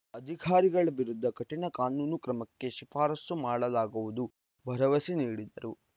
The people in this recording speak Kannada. ಅಧಿಕಾರಿಗಳ ವಿರುದ್ಧ ಕಠಿಣ ಕಾನೂನು ಕ್ರಮಕ್ಕೆ ಶಿಫಾರಸು ಮಾಡಲಾಗುವುದು ಭರವಸೆ ನೀಡಿದರು